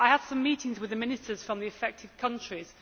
I have some meetings with the ministers from the affected countries.